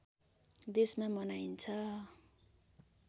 देशमा मनाइन्छ